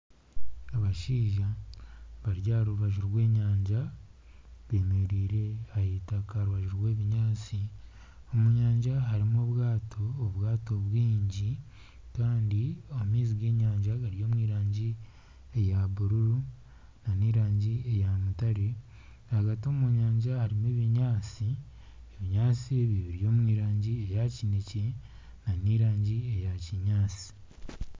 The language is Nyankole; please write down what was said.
Abashaija bari aha rubaju rw'enyanja, beemereire aha itaka aha rubaju rw'ebinyaatsi, omu nyanja harimu obwato obwato bwingi kandi amaizi g'enyanja gari omu rangi eya bururu nana erangi eya mutaare, ahagati omu nyanja harimu ebinyaatsi, ebinyaatsi biri omu rangi eya kineekye nana erangi eya kinyaatsi